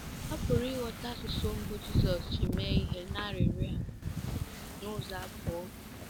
A pụrụ ịghọta asụsụ mbụ Jizọs ji mee ihe n’arịrịọ a n’ụzọ abụọ.